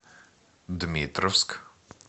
дмитровск